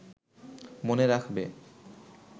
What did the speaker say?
মনে রাখবে